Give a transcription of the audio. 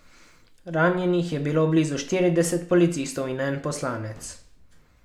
Ranjenih je bilo že blizu štirideset policistov in en poslanec.